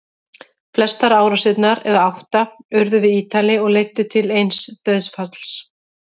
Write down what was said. Flestar árásirnar, eða átta, urðu við Ítalíu og leiddu til eins dauðsfalls.